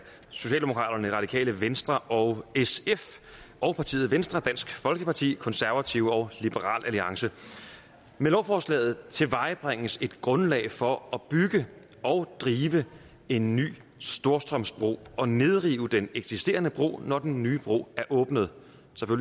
socialdemokraterne radikale venstre og sf og partierne venstre dansk folkeparti konservative og liberal alliance med lovforslaget tilvejebringes et grundlag for at bygge og drive en ny storstrømsbro og nedrive den eksisterende bro når den nye bro er åbnet